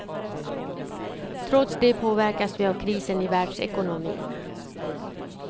Trots det påverkas vi av krisen i världsekonomin.